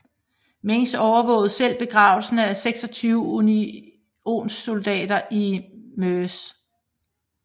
Meigs overvågede selv begravelsen af 26 unionssoldater i Mrs